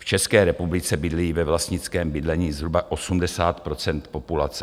V České republice bydlí ve vlastnickém bydlení zhruba 80 % populace.